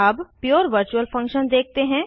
अब पुरे virtual function देखते हैं